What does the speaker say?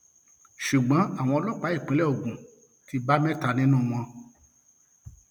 ṣùgbọn owó ọlọpàá ìpínlẹ ogun ti bá mẹta nínú wọn